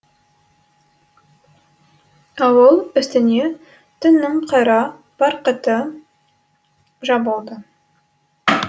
ауыл үстіне түннің қара барқыты жабылды